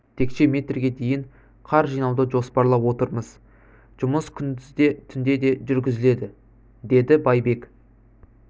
текше метрге дейін қар жинауды жоспарлап отырмыз жұмыс күндіз де түнде де жүргізіледі деді байбек